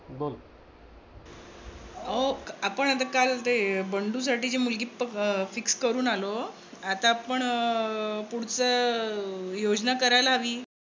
अहो आपण आता काल ते बंडूसाठी जी मुलगी fix करून आलो. आता आपण पुढचं योजना करायला हवी.